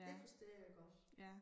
Det forstår jeg godt